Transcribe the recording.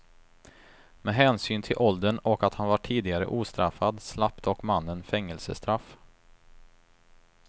Med hänsyn till åldern och att han var tidigare ostraffad slapp dock mannen fängelsestraff.